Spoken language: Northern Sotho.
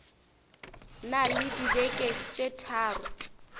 na le dibeke tše tharo